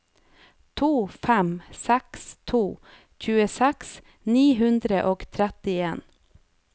to fem seks to tjueseks ni hundre og trettien